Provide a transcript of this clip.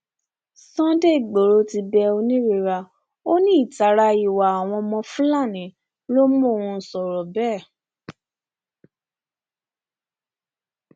sunday igboro ti bẹ oonírera ó ní ìtara ìwà àwọn fúlàní ló mọn sọrọ bẹẹ